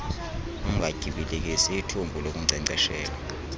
ungatyibilikisi ithumbu lokunkcenkceshela